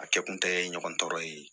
A kɛ kun tɛ ɲɔgɔn tɔɔrɔ ye